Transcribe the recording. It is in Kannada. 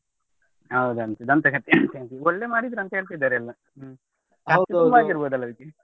ಹೌದಂತೆ ದಂತಕಥೆ ಅಂತೆ ಒಳ್ಳೆ ಮಾಡಿದ್ರು ಅಂತ ಹೇಳ್ತಿದ್ದಾರೆ ಎಲ್ಲಾ. ಹ್ಮ್ ತುಂಬಾ ಖರ್ಚು ಆಗಿರ್ಬೋದು ಅಲ್ಲ?